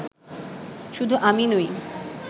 শুধু আমি নই